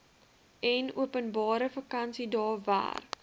enopenbare vakansiedae werk